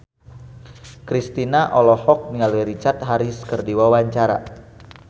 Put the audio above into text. Kristina olohok ningali Richard Harris keur diwawancara